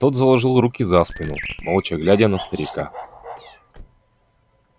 тот заложил руки за спину молча глядя на старика